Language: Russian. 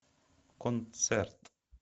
концерт